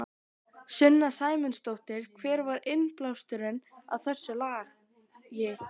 Sunna Sæmundsdóttir: Hver var innblásturinn að þessu lagi?